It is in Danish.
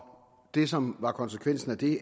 det som var konsekvensen af det